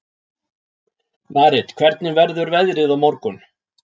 Marit, hvernig verður veðrið á morgun?